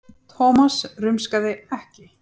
Thomas rumskaði ekki.